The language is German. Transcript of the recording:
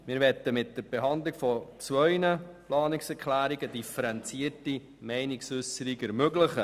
Wir möchten mit der Behandlung von zwei Planungserklärungen eine differenzierte Meinungsäusserung ermöglichen.